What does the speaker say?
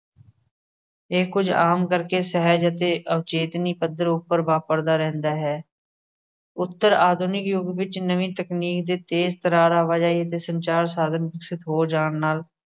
ਇਹ ਕੁਝ ਆਮ ਕਰਕੇ ਸਹਿਜ ਅਤੇ ਅਵਚੇਤਨੀ ਪੱਧਰ ਉੱਪਰ ਵਾਪਰਦਾ ਰਹਿੰਦਾ ਹੈ। ਉੱਤਰ ਆਧੁਨਿਕ ਯੁੱਗ ਵਿੱਚ ਨਵੀਂ ਤਕਨੀਕ ਦੇ ਤੇਜ਼ ਤਰਾਰ ਆਵਾਜਾਈ ਦੇ ਸੰਚਾਰ ਸਾਧਨ ਵਿਕਸਿਤ ਹੋ ਜਾਣ ਨਾਲ